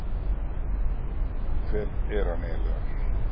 Hver er hann eiginlega?